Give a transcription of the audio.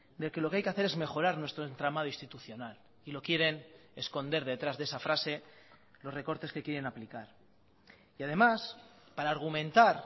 de que lo que hay que hacer es mejorar nuestro entramado institucional y lo quieren esconder detrás de esa frase los recortes que quieren aplicar y además para argumentar